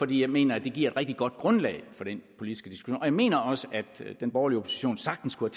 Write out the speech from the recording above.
jeg mener det giver et rigtig godt grundlag for den politiske diskussion og jeg mener også at den borgerlige opposition sagtens kunne